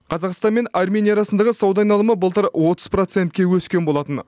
қазақстан мен армения арасындағы сауда айналымы былтыр отыз процентке өскен болатын